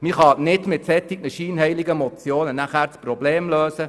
Man kann das Problem nicht mit solch scheinheiligen Motionen lösen.